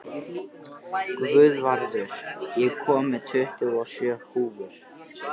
Guðvarður, ég kom með tuttugu og sjö húfur!